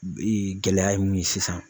gɛlɛya ye mun ye sisan.